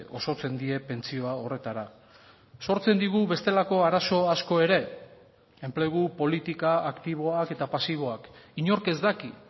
osotzen die pentsioa horretara sortzen digu bestelako arazo asko ere enplegu politika aktiboak eta pasiboak inork ez daki